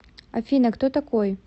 афина кто такой